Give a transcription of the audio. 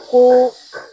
Ko